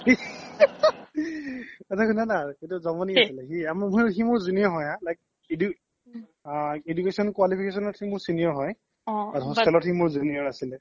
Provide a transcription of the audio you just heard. শুনা না এটা জমনি আছিলে সি মোৰ junior হয় হা like education qualification কে মোৰ senior হয় hostel ত সি মোৰ junior আছিলে